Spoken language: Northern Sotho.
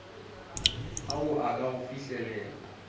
ao a ka go fihlelelwa